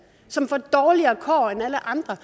som får dårligere kår end alle andre